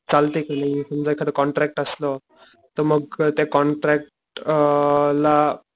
चालते कि नाही समजा एखादा कॉन्ट्रॅक्ट असलं तर मग त्या कॉन्टॅक्ट अ ला